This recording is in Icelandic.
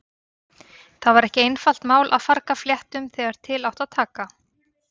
Það var ekki einfalt mál að farga fléttum þegar til átti að taka.